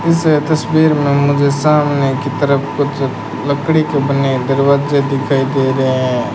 इस तस्वीर में मुझे सामने की तरफ कुछ लकड़ी के बने दरवाजे दिखाई दे रहे हैं।